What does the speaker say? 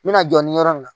N bɛna jɔ ni yɔrɔ min na